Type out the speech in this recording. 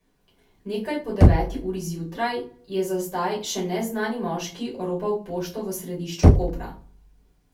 Nekaj po deveti uri zjutraj je za zdaj še neznani moški oropal pošto v središču Kopra.